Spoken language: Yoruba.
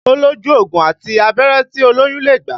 Ó lójú ògùn àti abẹ́rẹ́ tí olóyún lè gbà